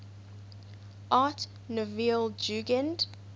art nouveau jugend